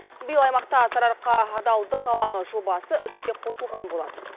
биыл аймақта сарыарқа адалдық алаңы жобасы іске қосылған болатын